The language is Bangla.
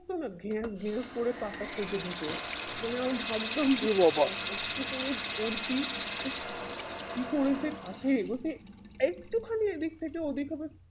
তো না গ্যাস গ্যাস করে টাকা কেটে দিতো তো আমি ভাবতাম কষ্ট করে পড়ছি উফ কি করে যে কাটে একটু খানিক এদিক থেকে ওদিক হলে